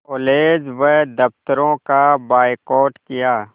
college व दफ़्तरों का बायकॉट किया